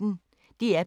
DR P1